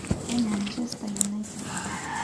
Ee Manchester united